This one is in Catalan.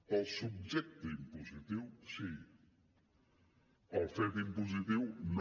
pel subjecte impositiu sí pel fet impositiu no